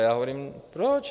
A já hovořím: Proč?